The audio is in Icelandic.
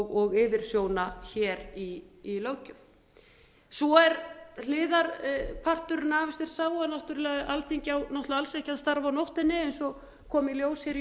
og yfirsjóna hér í löggjöf svo er hliðarparturinn af þessu er sá er náttúrlega að alþingi á alls ekki að starfa á nóttunni eins og kom í ljós hér í